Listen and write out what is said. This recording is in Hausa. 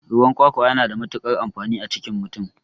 Ruwan kwakwa yana da matukar amfani a cikin mutum